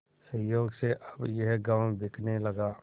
संयोग से अब यह गॉँव बिकने लगा